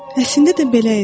Əslində də belə idi.